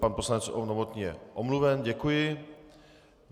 Pan poslanec Novotný je omluven, děkuji.